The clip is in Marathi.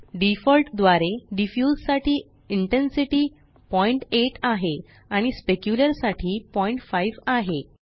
डिफॉल्ट द्वारे डिफ्यूज साठी इंटेन्सिटी 08 आहे आणि Specularसाठी 05 आहे